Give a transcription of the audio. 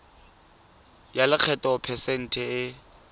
ya lekgetho phesente e